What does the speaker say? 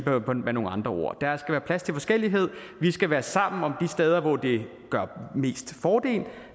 med nogle andre ord der skal være plads til forskellighed vi skal være sammen om steder hvor det er mest til fordel